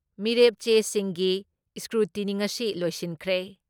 ꯃꯤꯔꯦꯞ ꯆꯦꯁꯤꯡꯒꯤ ꯏꯁꯀ꯭ꯔꯨꯇꯤꯅꯤ ꯉꯁꯤ ꯂꯣꯏꯁꯤꯟꯈ꯭ꯔꯦ ꯫